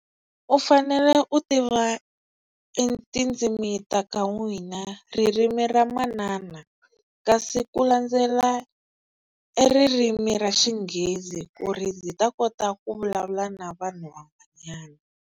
U fanele u tiva e tindzimi ta ka n'wina ririmi ra manana kasi ku landzela ririmi ra xinghezi ku ri ndzi ta kota ku vulavula na vanhu van'wanyana.